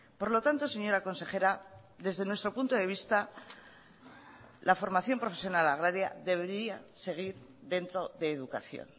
por lo tanto señora consejera desde nuestro punto de vista la formación profesional agraria debería seguir dentro de educación